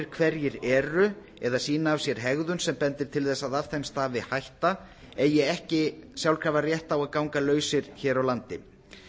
hverjir eru eða sýna af sér hegðun sem bendir til þess að af þeim stafi hætta eigi ekki sjálfkrafa rétt á að ganga lausir hér á landi